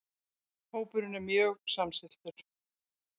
Hópurinn er mjög samstilltur